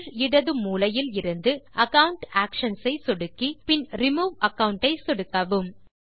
கீழ் இடது மூலையில் இலிருந்து அகாவுண்ட் ஆக்ஷன்ஸ் ஐ சொடுக்கி பின் ரிமூவ் அகாவுண்ட் ஐ சொடுக்கவும்